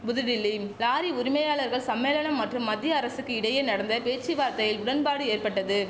புதுடில்லிம் lorry உரிமையாளர்கள் சம்மேளனம் மற்றும் மத்திய அரசுக்கு இடையே நடந்த பேச்சுவார்த்தையில் உடன்பாடு ஏற்பட்டது